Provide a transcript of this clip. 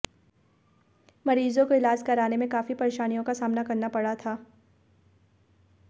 मरीजों को इलाज कराने में काफी परेशानियों का सामना करना पड़ा था